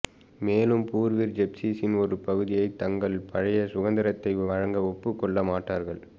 மேலும் பூர்வீர் ஜிப்சீசின் ஒரு பகுதியை தங்கள் பழைய சுதந்திரத்தை வழங்க ஒப்புக் கொள்ள மாட்டார்கள்